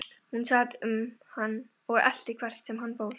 Hún sat um hann og elti hvert sem hann fór.